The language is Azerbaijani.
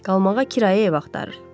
Qalmağa kirayə ev axtarır.